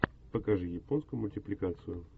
покажи японскую мультипликацию